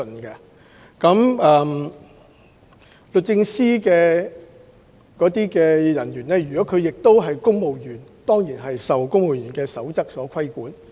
該等律政司人員若是公務員，當然亦受《公務員守則》規管。